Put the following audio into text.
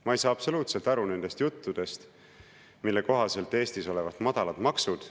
Ma ei saa absoluutselt aru nendest juttudest, mille kohaselt Eestis olevat madalad maksud.